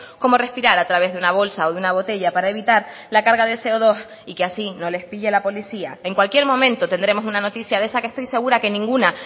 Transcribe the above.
como respirar a través de una bolsa o de una botella para evitar la carga de ce o dos y que así no les pille la policía en cualquier momento tendremos una noticia de esa que estoy segura que ninguna